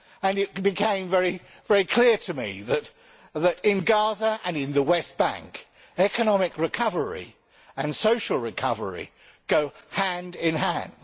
It became very clear to me that in Gaza and in the West Bank economic recovery and social recovery go hand in hand.